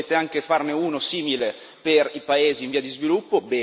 Adesso volete anche farne uno simile per i paesi in via di sviluppo.